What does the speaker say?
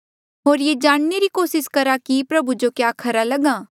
होर ये जाणने री कोसिस करहा कि प्रभु जो क्या खरा लग्हा